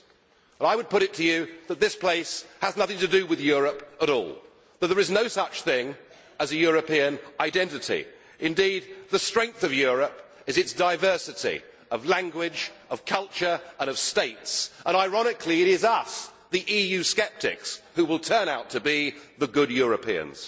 Well, I would put it to you that this place has nothing to do with Europe at all that there is no such thing as a European identity. Indeed, the strength of Europe is its diversity of language, of culture and of states. Ironically it is us the EU sceptics who will turn out to be the good Europeans.